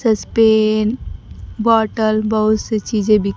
सस्पेंन bottle बहुत से चीजें भी--